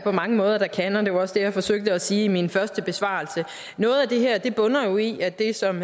på mange måder der kan og det var også det jeg forsøgte at sige i min første besvarelse noget af det her bunder jo i at det som